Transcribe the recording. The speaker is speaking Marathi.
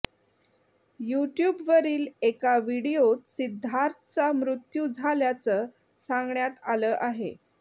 युट्यूबवरील एका व्हिडीओत सिद्धार्थचा मृत्यू झाल्याचं सांगण्यात आलं आहे